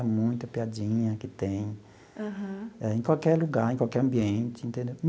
É muita piadinha que tem em qualquer lugar, em qualquer ambiente, entendeu?